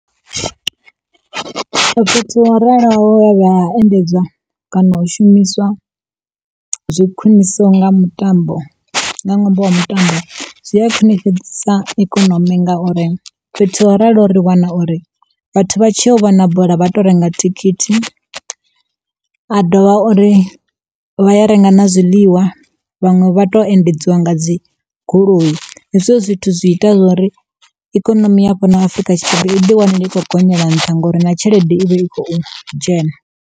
Fhethu ho raloho endedzwa kana u shumiswa zwi khwiṋiso nga mutambo, nga ṅwambo wa mutambo zwi a khwiṋifhadzisa ikonomi ngauri, fhethu ho raloho ri wana uri vhathu vha tshi yo u vhona bola vha tou renga thikhithi. Vha dovha uri vha ya renga na zwiḽiwa, vhaṅwe vha to endedzwa nga dzi goloi hezwo zwithu zwi ita zwori ikonomi ya fhano Afurika Tshipembe i ḓi wane i kho gonyela nṱha ngori na tshelede i vha i khou dzhena.